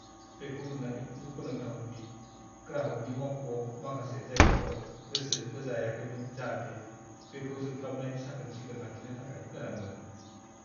बेखौ नुनानै दुखु नांथावमोन दि ग्राहगनि मावख'आव माखासे जायगाफोराव गोसो होजायाखैमोन जाहाथे बेखौ जोंख्लाबनाय साखोन-सिखोन लाखिनो थाखाय गोनांमोन।